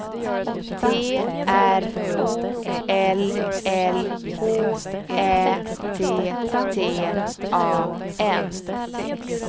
T R O L L H Ä T T A N